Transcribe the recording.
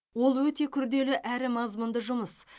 ол өте күрделі әрі мазмұнды жұмыс